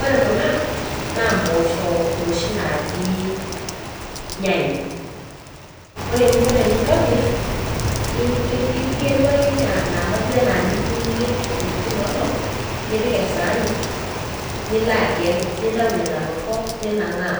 Ore kunaa naa mpoosho noshi najii nyayo. Ore eninko tenintobirr igelu ake naaba duo enaa niyu niyierr tinoolong' nipik esaani niloagel, nintau nena torrok ninang'aa